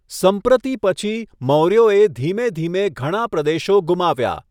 સંપ્રતિ પછી, મૌર્યોએ ધીમે ધીમે ઘણા પ્રદેશો ગુમાવ્યા.